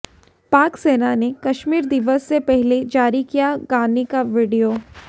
पाक सेना ने कश्मीर दिवस से पहले जारी किया गाने का वीडियो